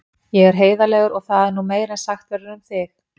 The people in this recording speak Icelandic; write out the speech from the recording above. Ég er heiðarlegur og það er nú meira en sagt verður um þig.